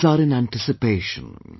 The eyes are in anticipation